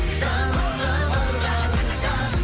жанына барғаныңша